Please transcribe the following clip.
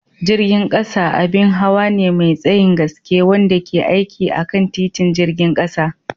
Jirgin ƙasa abin hawa ne mai tsayin gaske wanda ke aiki akan titin jirgin ƙasa.